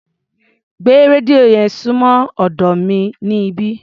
Gbé rédíò yẹn súnmọ́ ọ̀dọ́ mi níbí.